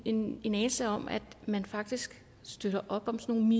en anelse om at man faktisk støtter op om sådan